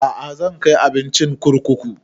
A'a zan kai abincin kurkuku